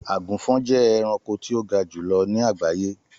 Àgùnfọn jẹ ẹranko ti o ga julọ ni agbaye.